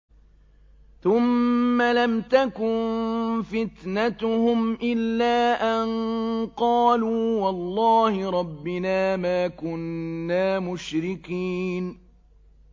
ثُمَّ لَمْ تَكُن فِتْنَتُهُمْ إِلَّا أَن قَالُوا وَاللَّهِ رَبِّنَا مَا كُنَّا مُشْرِكِينَ